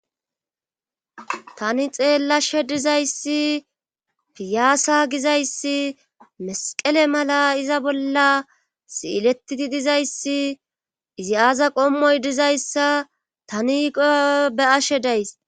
tani xeellashe dizayssi piyaasa gizayssi mesqele mala iza bolla siiletidi dizayssi izi aaza qommoy dizayssa tani be'ashe days